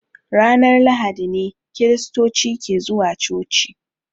Ranar lahadi ne kiristoci ke zuwa coci.